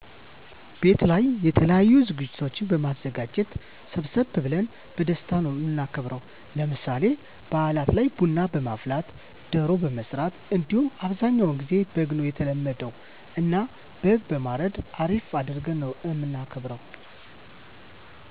ቤት ላይ የተለያዪ ዝግጅቶችን በማዘጋጀት ሰብሰብ ብለን በደስታ ነው እምናከብረው። ለምሳሌ ባእላት ላይ ቡና በማፍላት፣ ደሮ በመስራት እንዲሁም አብዛኛውን ግዜ በግ ነው የተለመደ እና በግ በማረድ አሪፍ አድርገን ነው እምናከብር።